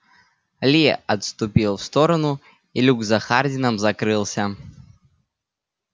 ли отступил в сторону и люк за хардином закрылся